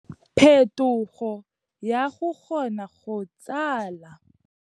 Phethogo ya go kgona go tsala.